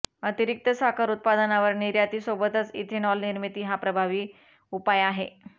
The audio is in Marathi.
अतिरिक्त साखर उत्पादनावर निर्यातीसोबतच इथेनॉल निर्मिती हा प्रभावी उपाय आहे